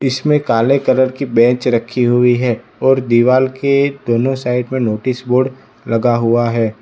इसमें काले कलर की बेंच रखी हुई है और दीवाल के दोनों साइड में नोटिस बोर्ड लगा हुआ है।